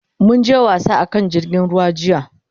Mun je wasa a kan jirgin ruwa jiya.